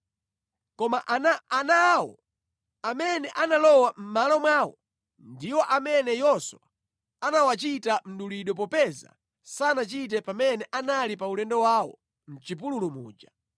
Koma ana awo amene analowa mʼmalo mwawo ndiwo amene Yoswa anawachita mdulidwe popeza sanachite pamene anali pa ulendo wawo mʼchipululu muja.